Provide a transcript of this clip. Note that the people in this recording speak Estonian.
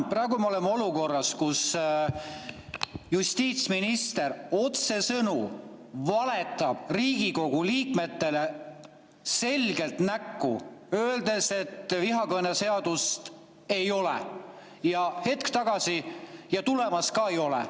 Praegu me oleme olukorras, kus justiitsminister otsesõnu valetab Riigikogu liikmetele selgelt näkku, öeldes, et vihakõneseadust ei ole ja tulemas ka ei ole.